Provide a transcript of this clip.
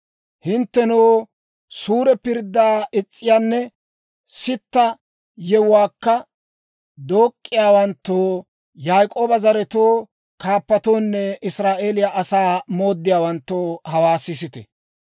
Hinttenoo, suure pirddaa is's'iyaanne sitta yewuwaakka dook'k'iyaawanttoo Yaak'ooba zaratuwaa kaappatoonne Israa'eeliyaa asaa mooddiyaawanttoo, hawaa sisite.